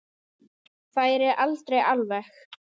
Færi aldrei alveg.